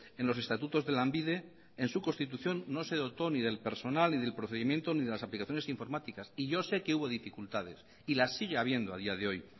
en los estatutos de lanbide en su constitución no se dotó ni del personal ni del procedimiento ni de las aplicaciones informáticas y yo sé que hubo dificultades y la sigue habiendo a día de hoy